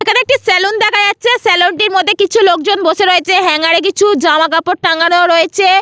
এখানে একটি সেলুন দেখা যাচ্ছে সেলুন টির মধ্যে কিছু লোকজন বসে রয়েছে হ্যাঙ্গার এ কিছু জামা কাপড় টাঙানো রয়েছে।